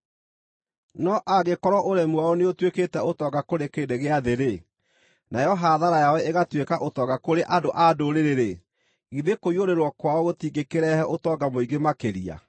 No angĩkorwo ũremi wao nĩũtuĩkĩte ũtonga kũrĩ kĩrĩndĩ gĩa thĩ, nayo hathara yao ĩgatuĩka ũtonga kũrĩ andũ-a-Ndũrĩrĩ-rĩ, githĩ kũiyũrĩrĩrwo kwao gũtingĩkĩrehe ũtonga mũingĩ makĩria!